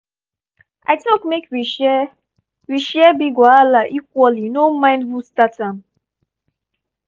i talk make we share we share big wahala equally no mind who start am.